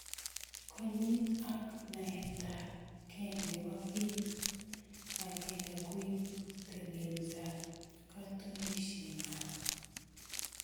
Konyit ak naetab gee nebo kip agenge koibu teleletab katunisienyoo